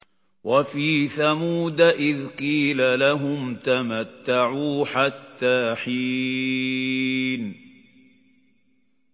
وَفِي ثَمُودَ إِذْ قِيلَ لَهُمْ تَمَتَّعُوا حَتَّىٰ حِينٍ